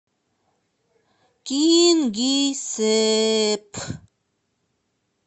кингисепп